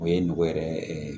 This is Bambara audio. O ye nogo yɛrɛ ye